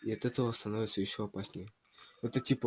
и от этого становится ещё опаснее это типо